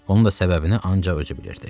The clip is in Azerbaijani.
Onun da səbəbini ancaq özü bilirdi.